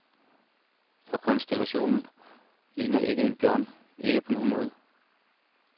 For konstellationen ligner ikke en bjørn, ikke på nogen måde.